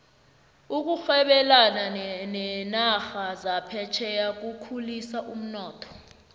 ukurhebelana nerarha zaphetjheya kukhulisa umnotho